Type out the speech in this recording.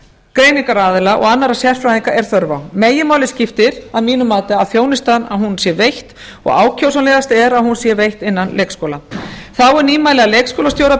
greiningaraðila og annarra sérfræðinga er þörf á meginmáli skiptir að mínu mati að þjónustan sé veitt og ákjósanlegast er að hún sé veitt innan leikskóla þá er nýmæli að leikskólastjóra ber